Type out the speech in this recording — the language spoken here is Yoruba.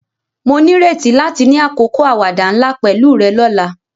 Mo nírètí láti ni àkókò àwàdà nla pẹ̀lu rẹ ni ọ̀la.